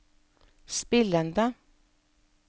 spillende